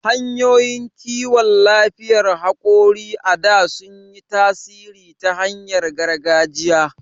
Hanyoyin kiwon lafiyar hakori a da sun yi tasiri ta hanyar gargajiya..